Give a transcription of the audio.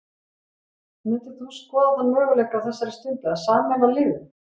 Myndir þú skoða þann möguleika á þessari stundu að sameina liðin?